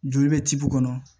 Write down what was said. Joli bɛ cibu kɔnɔ